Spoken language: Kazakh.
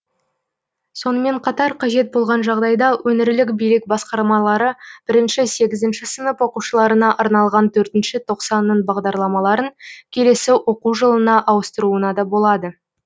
сонымен қатар қажет болған жағдайда өңірлік билік басқармалары бірінші сегізінші сынып оқушыларына арналған төртінші тоқсанның бағдарламарын келесі оқу жылына ауыстыруына да болады